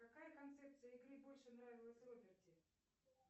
какая концепция игры больше нравилась роберти